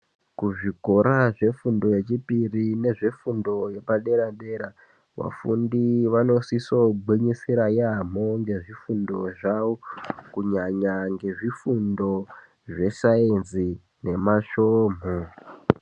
Kuzvikora zvefundo yechipiri nezvefundo yepadera dera vafundi vanosisogwinyisira yaamho ngezvifundo zvavo kunyanya ngezvifundo zvesainzi nemasvomhu.